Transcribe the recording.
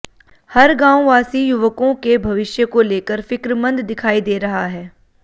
हर गांव वासी युवकों के भविष्य को लेकर फिक्रमंद दिखाई दे रहा है